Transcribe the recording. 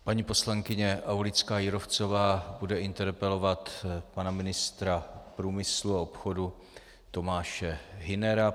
Paní poslankyně Aulická Jírovcová bude interpelovat pana ministra průmyslu a obchodu Tomáše Hünera.